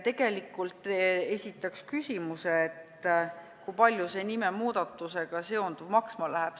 Esitaks ka küsimuse, kui palju see nimemuudatusega seonduv maksma läheb.